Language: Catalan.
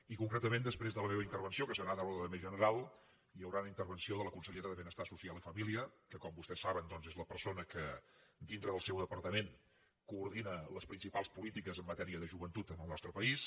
i concretament després de la meva intervenció que serà de l’ordre més general hi haurà una intervenció de la consellera de benestar social i família que com vostès saben doncs és la persona que dintre del seu departament coordina les principals polítiques en matèria de joventut en el nostre país